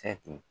Kɛ ten